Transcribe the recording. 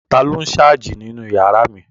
Taló n sáàjì nínu yàrá mi?